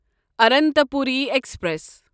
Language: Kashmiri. اننتاپوری ایکسپریس